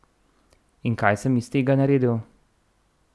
In kaj sem iz tega naredil?